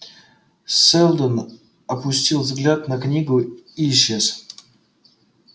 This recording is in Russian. сэлдон опустил взгляд на книгу и исчез